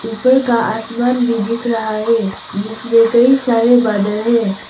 ऊपर का आसमान भी दिख रहा है जिसमें कई सारे बादल हैं।